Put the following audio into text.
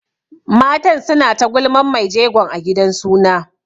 Matan suna ta gulman mai jegon a gidan suna.